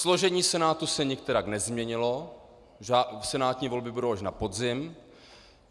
Složení Senátu se nikterak nezměnilo, senátní volby budou až na podzim.